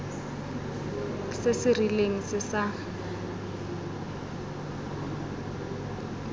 se se rileng se sa